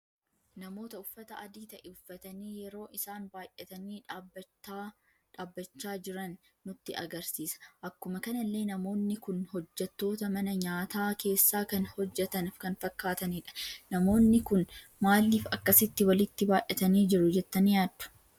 Namoota uffata adii ta'e uffatani yeroo isaan baay'atani dhaabbacha jiran nutti agarsiisa. Akkuma kanallee namoonni kun hojjettoota mana nyaata keessa kan hojjetan kan fakkatanidha. Namoonni kun maaliif akkasitti walitti baay'atani jiru jettani yaaddu?